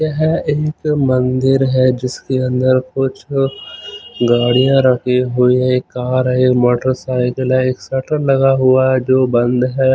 यह एक मन्दिर है जिसके अन्दर कुछ गाड़ियां रखी हुई हैं। एक कार है मोटर साइकिल है एक शटर लगा है जो बन्द है।